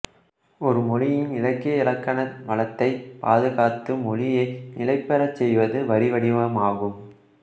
ஒரு மொழியின் இலக்கிய இலக்கண வளத்தைப் பாதுகாத்து மொழியை நிலைபெறச் செய்வது வரி வடிவமாகும்